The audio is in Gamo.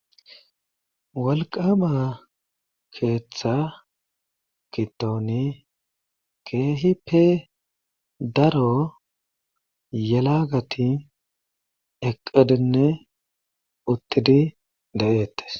Wolqqama keeththa gidoni keeehippe daro yelagati eqqidinne uttidi de'etees.